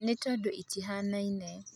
ĩĩni tondũ itihanaine